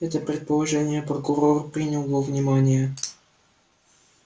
это предположение прокурор принял во внимание